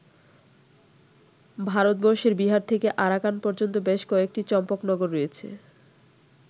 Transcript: ভারতবর্ষের বিহার থেকে আরাকান পর্যন্ত বেশ কয়েকটি চম্পকনগর রয়েছে।